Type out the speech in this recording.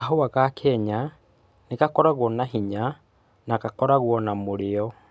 Kahua ga Kenya nĩ gakoragwo na hinya na gakoragwo na mũrĩo.